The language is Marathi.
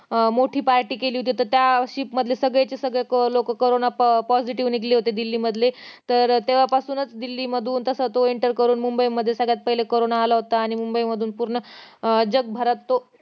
अं मोठी party केली होती तर त्या ship मधल्या सगळे चे सगळे लोक कारोंना positive निघाले होते दिल्लीमधले तर अं तेव्हा पासूनच दिल्लीमधून तसा तो enter करून मुंबई मध्ये सगळ्यात पाहिले कारोंना आला होता आणि मुंबई मधूनच जगभरात तो